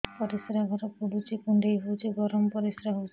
ପରିସ୍ରା ଘର ପୁଡୁଚି କୁଣ୍ଡେଇ ହଉଚି ଗରମ ପରିସ୍ରା ହଉଚି